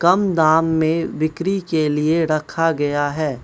कम दाम में बिक्री के लिए रखा गया है।